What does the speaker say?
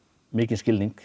mikinn skilning